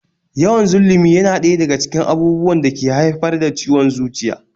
Yawan zullumi yana ɗaya daga cikin abubuwan da ke haifar da ciwon zuciya